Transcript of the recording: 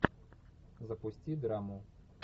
запусти драму